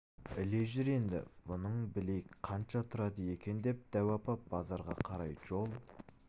іле жүр енді бұның білейік қанша тұрады екен деп дәу апа базарға қарай жол